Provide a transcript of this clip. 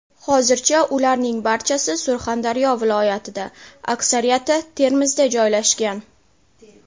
Hozircha ularning barchasi Surxondaryo viloyatida, aksariyati Termizda joylashgan.